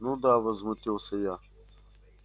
ну да возмутилась я